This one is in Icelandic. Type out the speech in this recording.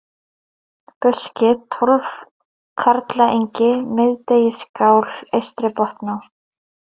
Buski, Tólfkarlaengi, Miðdegisskál, Eystri-Botná